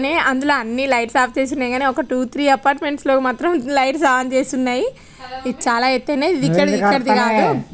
అందులో అన్ని lights off చేసి ఉన్నాయి కానీ టూ త్రీ అపార్ట్మెంట్స్ లో మాత్రం లైట్ ఆన్ చేసి ఉన్నాయి. ఇవి చాలా ఎత్తయినయ్ ఇక్కడవి ఇక్కడివి కాదు.